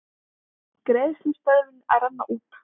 Greiðslustöðvun að renna út